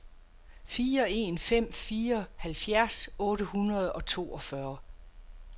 fire en fem fire halvfjerds otte hundrede og toogfyrre